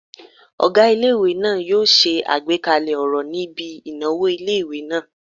Ọgá ilé-ìwé náà yóò ṣe àgbékalẹ̀ ọ̀rọ̀ níbi ìnáwó ilé-ìwé náà